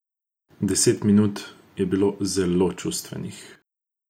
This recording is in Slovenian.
Deset minut je bilo zelo čustvenih.